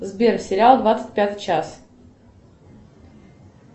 сбер сериал двадцать пятый час